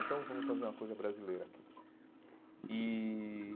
Então vamos fazer uma coisa brasileira aqui e.